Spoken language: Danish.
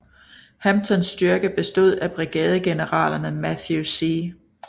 Hamptons styrke bestod af brigadegeneralerne Matthew C